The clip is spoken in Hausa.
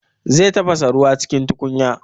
Zai tafasa ruwa cikin tukunya